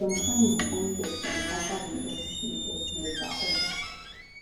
zhongshan bin only respond afta dem get dis latest illegal order